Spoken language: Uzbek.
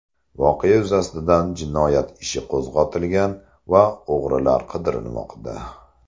Voqea yuzasidan jinoyat ishi qo‘zg‘atilgan va o‘g‘rilar qidirilmoqda.